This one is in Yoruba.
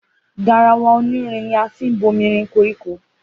Garawa oní irin ni a fín bómírin kọrikọ.